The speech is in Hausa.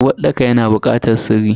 Uwarɗaka yana bukatar sirri.